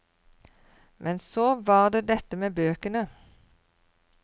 Men så var det dette med bøkene.